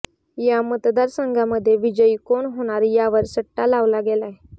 या मतदारसंघांमध्ये विजयी कोण होणार यावर सट्टा लावला गेलाय